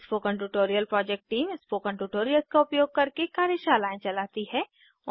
spoken tutorial project team spoken tutorials का उपयोग करके कार्यशालाएं चलाती है